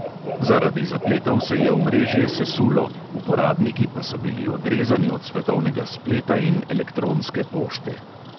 Zaradi zapletov se je omrežje sesulo, uporabniki pa so bili odrezani od svetovnega spleta in elektronske pošte.